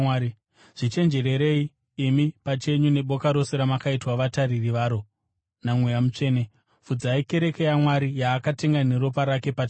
Zvichenjererei imi pachenyu neboka rose ramakaitwa vatariri varo naMweya Mutsvene. Fudzai kereke yaMwari, yaakatenga neropa rake pachake.